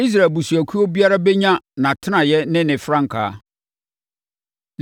Israel abusuakuo biara bɛnya nʼatenaeɛ ne ne frankaa.